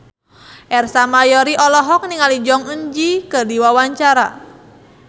Ersa Mayori olohok ningali Jong Eun Ji keur diwawancara